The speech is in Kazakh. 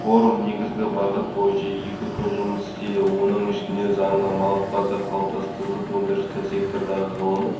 шалдырып әскерлерінің жарасын жазған атақты алакөл жағалауында қазір өзгеріс көп аймақ қазынасынан млн теңге арнайы